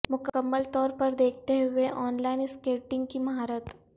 مکمل طور پر دیکھتے ہوئے ان لائن سکیٹنگ کی مہارت